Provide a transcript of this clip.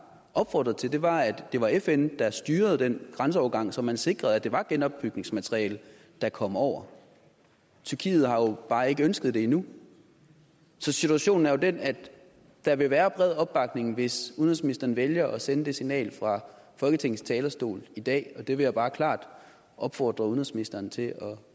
opfordret til var at det var fn der styrede den grænseovergang så man sikrede at det var genopbygningsmateriale der kom over tyrkiet har jo bare ikke ønsket det endnu så situationen er jo den at der vil være bred opbakning hvis udenrigsministeren vælger at sende det signal fra folketingets talerstol i dag og det vil jeg bare klart opfordre udenrigsministeren til at